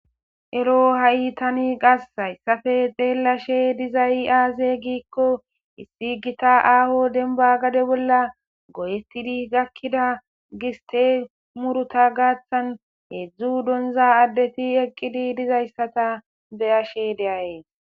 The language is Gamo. Ero ha'i tani qas hayssafe deellashe dizay aaze giikko issi gita aaho denba gade bolla goyetidi gakkida giste muruta gaaththan heedzdzu donza addeti eqqidi dizayssata beyashe deaye.